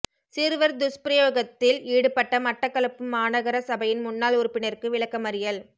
சிறுவர் துஸ்பிரயோகத்தில் ஈடுபட்ட மட்டக்களப்பு மாநகர சபையின் முன்னாள் உறுப்பினருக்கு விளக்கமறியல்